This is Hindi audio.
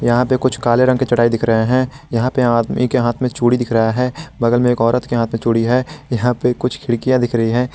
यहां पे कुछ काले रंग के चटाई दिख रहे है यहां पे आदमी के हाथ में चूड़ी दिख रहा है बगल में एक औरत के हाथ मे चुड़ी है यहां पे कुछ खिड़कियां दिख रही है।